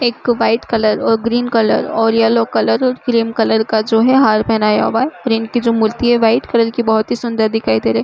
एक white colour और green colour और येलो कलर क्रीम कलर का जो है हार पहनाया हुआ है और इनकी जो मूर्ति है व्हाइट की बहोत ही सुंदर दिखाई दे रही है।